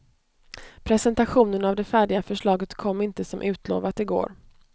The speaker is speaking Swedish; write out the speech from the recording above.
Presentationen av det färdiga förslaget kom inte, som utlovat, i går.